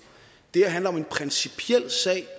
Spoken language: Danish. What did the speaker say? det her handler om en principiel sag